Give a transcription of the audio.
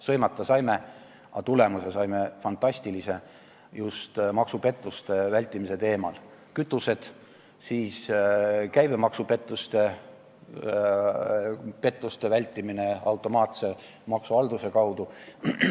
Sõimata saime, aga saime fantastilise tulemuse just maksupettuste vältimisel: kütused ja käibemaksupettuste vältimine automaatse maksuhalduse kaudu.